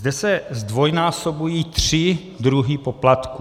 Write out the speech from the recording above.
Zde se zdvojnásobují tři druhy poplatků.